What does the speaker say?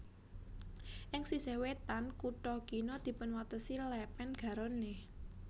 Ing sisih wétan kutha kina dipunwatesi Lèpèn Garonne